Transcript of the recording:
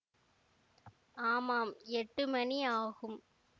ஆமாம் எட்டு மணி ஆகும்